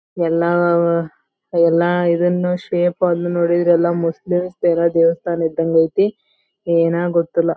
ಎಲ್ಲಾ ಎಲ್ಲಾ ಇದನ್ನು ಶೇಪ್ ಅನ್ನು ನೋಡಿದ್ರೆ ಎಲ್ಲಾ ಮುಸ್ಲಿಮ್ಸ್ ತರದ ದೇವಸ್ಥಾನ ಇದಂಗ ಐತಿ ಏನೋ ಗೊತ್ತಿಲ್ಲಾ.